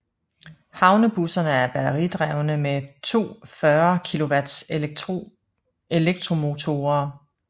Havnebusserne er batteridrevne med to 40 kW elektromotorer